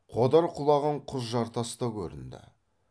қодар құлаған құз жартас та көрінді